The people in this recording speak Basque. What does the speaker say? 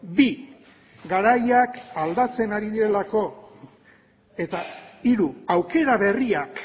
bi garaiak aldatzen ari direlako eta hiru aukera berriak